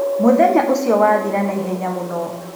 Mũthenya ũcio wathira na ihenya mũno.